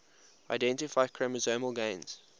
identify chromosomal gains